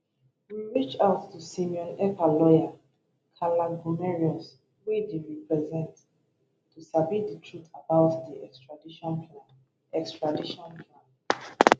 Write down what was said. we reach out to simon ekpa lawyer kaarle gummerus wey dey represent to sabi di truth about di extradition plan extradition plan